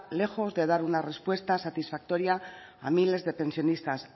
lejos de dar una respuesta satisfactoria a miles de pensionistas